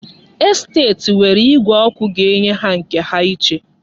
Estet nwere igwe ọkụ ga-enye ha nke ha iche.